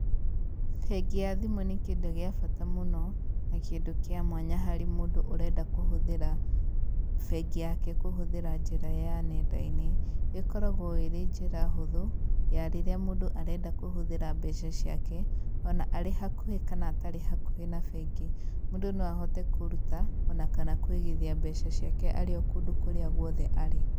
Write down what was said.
Bengi ya thimũ nĩ kĩndũ gĩa bata mũno na kĩndũ kĩa mwanya harĩ mũndũ ũrenda kũhũthĩra bengi yake kũhũthĩra njĩra ya nenda-inĩ. Ĩkoragwo ĩrĩ njĩra hũthũ ya rĩrĩa mũndũ arenda kũhuthĩra mbeca ciake ona arĩ hakuhĩ kana atarĩ hakuhĩ na bengi, mũndũ no ahote kũruta ona kana kũigithia mbeca ciake arĩ o kũndũ kũrĩa guothe arĩ.